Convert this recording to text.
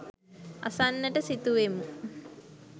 අසන්නට සිතුවෙමු.